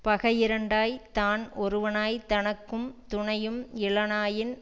பகையிரண்டாய்த் தான் ஒருவனாய்த் தனக்கு துணையும் இலனாயின்